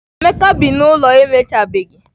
Emeka bi n'ụlọ emechabeghị